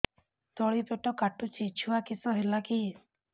ତଳିପେଟ କାଟୁଚି ଛୁଆ କିଶ ହେଲା କି